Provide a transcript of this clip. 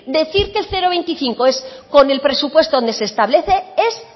que el cero coma veinticinco es con el presupuesto donde se establece es